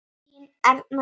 Þín Erna Dís.